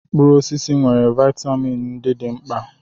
Mkpụrụ osisi nwere vitamin ndị dị mkpa.